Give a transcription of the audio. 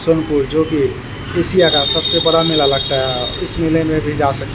सोनपुर जो की एशिया का सबसे बड़ा मेला लगता है इस मेले में भी जा सक --